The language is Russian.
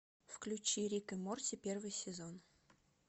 включи рик и морти первый сезон